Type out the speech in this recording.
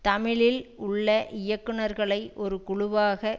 தமிழில் உள்ள இயக்குனர்களை ஒரு குழுவாக